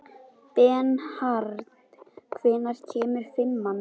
Bernharð, hvenær kemur fimman?